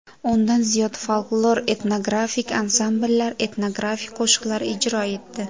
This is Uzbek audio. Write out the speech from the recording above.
O‘ndan ziyod folklor-etnografik ansambllar etnografik qo‘shiqlar ijro etdi.